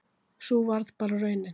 Sú varð bara raunin